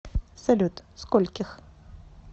салют скольких